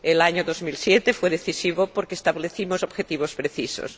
El año 2007 fue decisivo, porque establecimos objetivos precisos.